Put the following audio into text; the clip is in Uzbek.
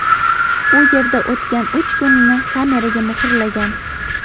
U yerda o‘tgan uch kunini kameraga muhrlagan.